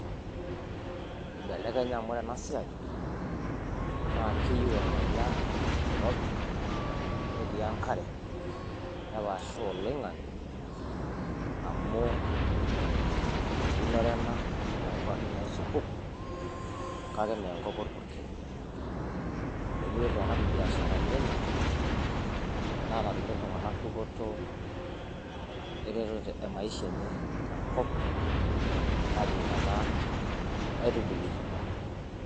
ibelekenya amu ore ena siai naa keyieu ormanyara oirobi, netii enkare, nepaashaa oloing'ang'e. amu eunore ena oonkuapi naisupuk, kake mme nkwapi orpukel. naitobie iltunganak ibiasharani enye, enaa enatumie iltunganak dupoto eretoto emaisha enye tena kop. najing'ena aitubului.